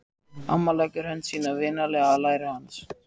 Amma leggur hönd sína vinalega á læri hans.